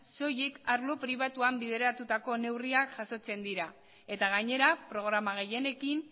soilik arlo pribatuan bideratutako neurriak jasotzen dira eta gainera programa gehienekin